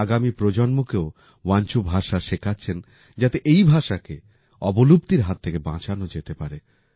উনি আগামি প্রজন্মকেও বাঞ্চোভাষা শেখাচ্ছেন যাতে এই ভাষাকে অবলুপ্তির হাত থেকে বাঁচানো যেতে পারে